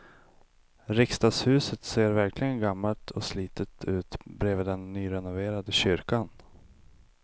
Riksdagshuset ser verkligen gammalt och slitet ut bredvid den nyrenoverade kyrkan.